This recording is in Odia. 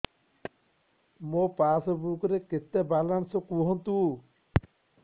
ମୋ ପାସବୁକ୍ ରେ କେତେ ବାଲାନ୍ସ କୁହନ୍ତୁ